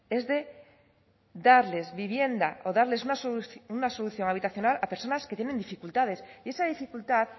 es de darles vivienda o darles una solución habitacional a personas que tienen dificultades y esa dificultad